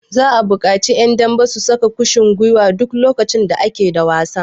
Za'a buƙaci ƴan dambe su saka kushin gwiwa duk lokacin da ake da wasa.